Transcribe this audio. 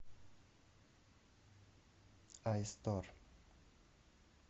айстор